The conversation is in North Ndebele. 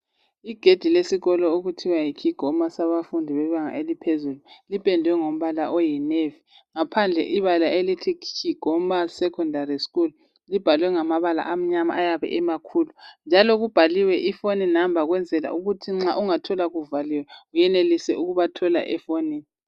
igedi lesikolo okuthiwa yiKigoma elebanga eliphezulu liphendwe ngombala oyinevi ngaphandle kwebala elibhalwe "kigoma" liyabe libhalwe ngamabala amnyama ayabe emakhulu njalo kubhaliwe ifoni numba ukuthi nxa ungathola kuvaliwe uyenelise ukuba thola efonini.